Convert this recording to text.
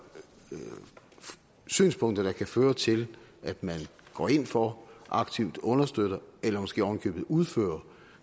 synspunkter der kan føre til at de går ind for og aktivt understøtter eller måske ovenikøbet udfører